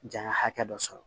Janya hakɛ dɔ sɔrɔ